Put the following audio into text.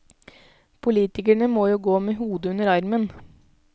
Politikerne må jo gå med hodet under armen.